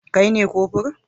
Kai ne kofur?